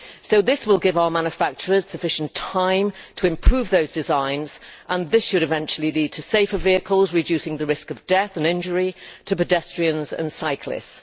So this will give our manufacturers sufficient time to improve those designs and this should eventually lead to safer vehicles, reducing the risk of death and injury to pedestrians and cyclists.